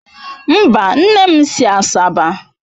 Mba, nne m si Asaba